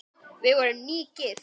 Við vorum nýgift!